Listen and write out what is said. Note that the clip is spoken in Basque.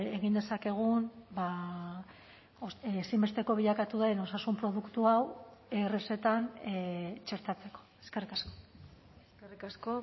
egin dezakegun ezinbesteko bilakatu den osasun produktu hau errezetan txertatzeko eskerrik asko eskerrik asko